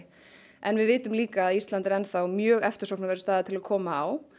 en við vitum líka að Ísland er enn þá mjög eftirsóknarverður staður til að koma á